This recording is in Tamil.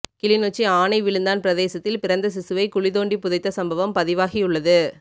கிளிநொச்சி ஆணைவிழுந்தான் பிரதேசத்தில் பிறந்த சிசுவை குழி தொண்டி புதைத்த சம்பவம் பதிவாகியுள்ளது